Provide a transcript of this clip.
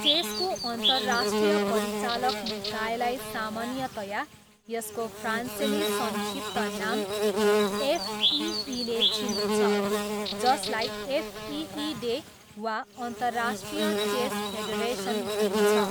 चेसको अन्तर्राष्ट्रिय परिचालक निकायलाई सामान्यतया यसको फ्रान्सेली संक्षिप्त नाम एफइईले चिनिन्छ जसलाई एफइइडे, वा अन्तर्राष्ट्रिय चेस फेडरेसन भनिन्छ।